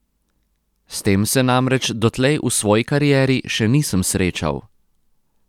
S tem se namreč dotlej v svoji karieri še nisem srečal.